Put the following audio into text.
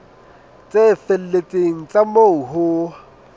tse felletseng tsa moo ho